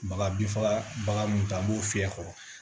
Baga binfagabaga mun ta a b'o fiyɛ kɔrɔ